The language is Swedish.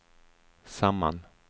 samman